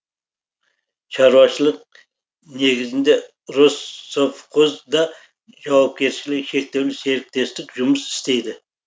шаруашылық негізінде россовхоз да жауапкершілігі шектеулі серіктестік жұмыс істейді